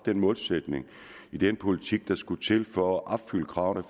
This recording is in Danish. målsætning i den politik der skulle til for at opfylde kravene